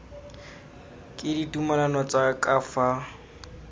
ke ditumalano tsa ka fa